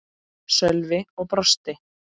Sölvi og brosti.